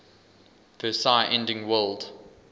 versailles ending world